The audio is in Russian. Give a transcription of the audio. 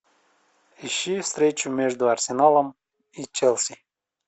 ищи встречу между арсеналом и челси